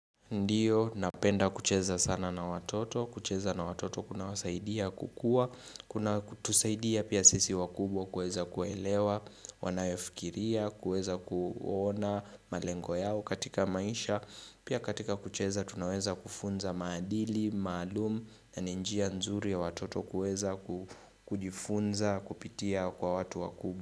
Ndiyo, napenda kucheza sana na watoto, kucheza na watoto kunawasaidia kukua, kunatusaidia pia sisi wakubwa kueza kuelewa, wanayofikiria, kueza kuona malengo yao katika maisha, pia katika kucheza tunaweza kufunza maadili, maalum na ni njia nzuri ya watoto kueza kujifunza, kupitia kwa watu wakubo.